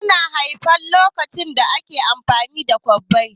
An haife ka lokacin da ake amfani da kwabbai?